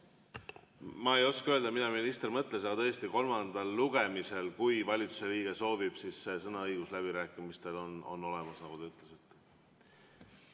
Ma ei oska öelda, mida minister mõtles, aga tõesti, kolmandal lugemisel, kui valitsuse liige soovib, siis sõnaõigus läbirääkimistel on tal olemas, nagu te ütlesite.